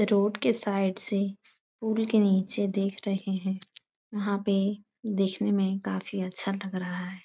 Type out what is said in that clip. Road के side से पुल के नीचे देख रहे हैं यहाँ पे देखने में काफी अच्छा लग रहा है।